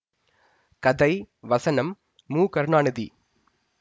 கதை வசனம் மு கருணாநிதி